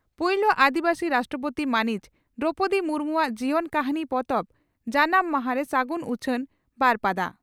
ᱯᱩᱭᱞᱩ ᱟᱹᱫᱤᱵᱟᱹᱥᱤ ᱨᱟᱥᱴᱨᱚᱯᱳᱛᱤ ᱢᱟᱹᱱᱤᱡ ᱫᱨᱚᱣᱯᱚᱫᱤ ᱢᱩᱨᱢᱩᱣᱟᱜ ᱡᱤᱭᱚᱱ ᱠᱟᱹᱦᱱᱤ ᱯᱚᱛᱚᱵ ᱡᱟᱱᱟᱢ ᱢᱟᱦᱟᱨᱮ ᱥᱟᱹᱜᱩᱱ ᱩᱪᱷᱟᱹᱱ ᱵᱟᱹᱨᱯᱟᱫᱟ